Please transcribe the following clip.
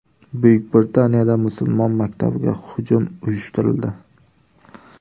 Buyuk Britaniyada musulmon maktabiga hujum uyushtirildi.